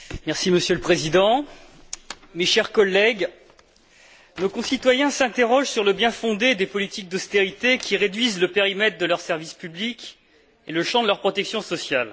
Monsieur le Président, mes chers collègues, nos concitoyens s'interrogent sur le bien fondé des politiques d'austérité qui réduisent le périmètre de leurs services publics et le champ de leurs protections sociales.